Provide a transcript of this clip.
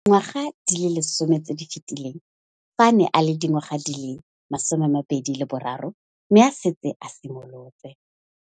Dingwaga di le 10 tse di fetileng, fa a ne a le dingwaga di le 23 mme a setse a itshimoletse.